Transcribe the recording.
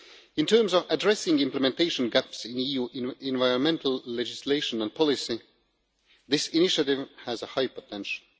In terms of addressing implementation gaps in EU environmental legislation and policy, this initiative has a high potential.